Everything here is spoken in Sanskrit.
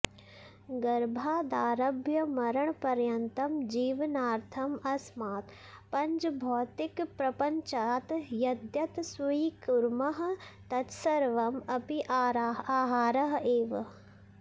गर्भादारभ्य मरणपर्यन्तं जीवनार्थम् अस्मात् पञ्चभौतिकप्रपञ्चात् यद्यत् स्वीकुर्मः तत्सर्वम् अपि आहारः एव